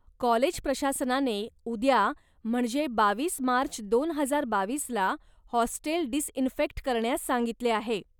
College प्रशासनाने, उद्या म्हणजे बावीस मार्च दोन हजार बावीसला हॉस्टेल डिसइन्फेक्ट करण्यास सांगितले आहे.